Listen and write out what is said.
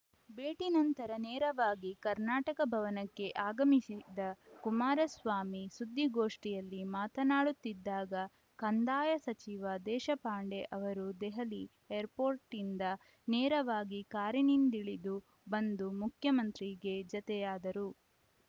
ಭೇಟಿ ನಂತರ ನೇರವಾಗಿ ಕರ್ನಾಟಕ ಭವನಕ್ಕೆ ಆಗಮಿಸಿದ ಕುಮಾರಸ್ವಾಮಿ ಸುದ್ದಿಗೋಷ್ಠಿಯಲ್ಲಿ ಮಾತನಾಡುತ್ತಿದ್ದಾಗ ಕಂದಾಯ ಸಚಿವ ದೇಶಪಾಂಡೆ ಅವರೂ ದೆಹಲಿ ಏರ್‌ಪೋರ್ಟಿಂದ ನೇರವಾಗಿ ಕಾರಿನಿಂದಿಳಿದು ಬಂದು ಮುಖ್ಯಮಂತ್ರಿಗೆ ಜತೆಯಾದರು